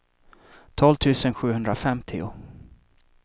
tolv tusen sjuhundrafemtio